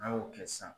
N'an y'o kɛ sisan